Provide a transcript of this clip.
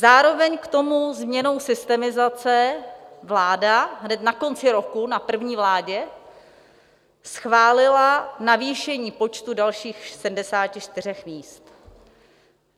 Zároveň k tomu změnou systemizace vláda hned na konci roku, na první vládě, schválila navýšení počtu dalších 74 míst.